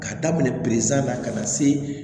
K'a daminɛ na ka na se